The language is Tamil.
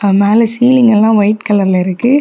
மேல சீலிங் எல்லாம் ஒயிட் கலர்ல இருக்கு.